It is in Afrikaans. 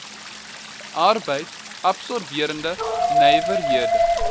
arbeids absorberende nywerhede